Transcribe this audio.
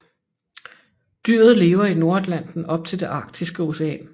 Dyret lever i Nordatlanten op til det Arktiske Ocean